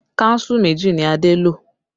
Kánsù méjì ni Adé lo